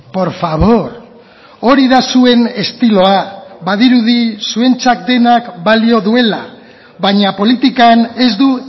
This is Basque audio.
por favor hori da zuen estiloa badirudi zuentzat denak balio duela baina politikan ez du